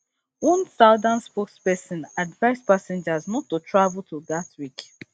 one southern spokesperson advise passengers not to travel to gatwick